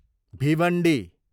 Bhiwandi